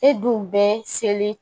E dun bɛ seli